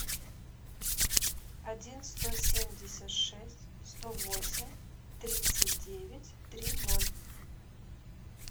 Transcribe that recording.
один сто семьдесят шесть сто восемь тридцать девять три ноль